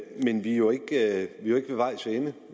men vi er jo ikke ved vejs ende